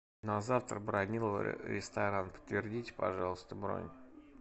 на завтра бронировали ресторан подтвердите пожалуйста бронь